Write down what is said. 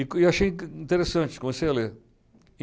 E achei interessante, comecei a ler.